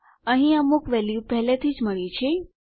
અહીં અમુક વેલ્યુ પહેલાથી જ મળ્યી છે